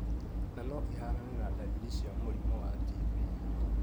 Na no ihanane na dariri cia mũrimũ wa TB.